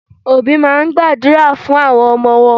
Òbí máa ń gbàdúrà fún àwọn ọmọ wọn